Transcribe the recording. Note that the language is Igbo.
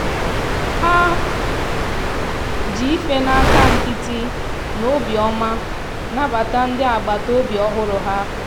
ha ji ife aka nkịtị na obiọma nabata ndị agbataobi ọhụrụ ha.